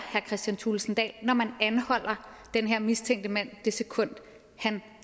kristian thulesen dahl når man anholder den her mistænkte mand det sekund han